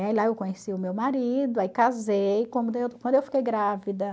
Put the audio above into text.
E lá eu conheci o meu marido, aí casei quando eu quando eu fiquei grávida.